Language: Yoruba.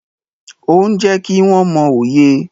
Ó ń jẹ́ kí wọ́n mọ òye.